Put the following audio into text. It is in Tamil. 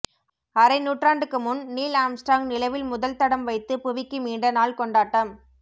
அரை நூற்றாண்டுக்கு முன் நீல் ஆர்ம்ஸ்டிராங் நிலவில் முதல் தடம் வைத்து புவிக்கு மீண்ட நாள் கொண்டாட்டம்